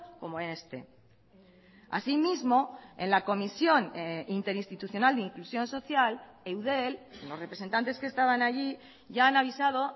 como en este así mismo en la comisión interinstitucional de inclusión social eudel los representantes que estaban allí ya han avisado